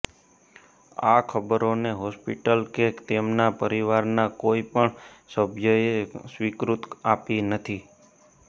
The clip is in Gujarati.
આ ખબરોને હોસ્પિટલ કે તેમના પરિવારના કોઈ પણ સભ્યએ સ્વીકૃતિ આપી નથી